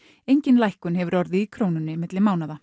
engin lækkun hefur orðið í Krónunni milli mánaða